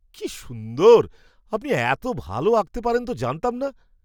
কি সুন্দর! আপনি এত ভাল আঁকতে পারেন তো জানতাম না!